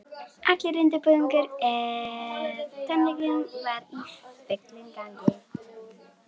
Allur undirbúningur að tónleikunum var í fullum gangi.